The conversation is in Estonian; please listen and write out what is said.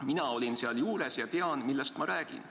Mina olin seal juures ja tean, millest ma räägin.